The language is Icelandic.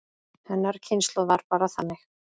Hennar kynslóð var bara þannig.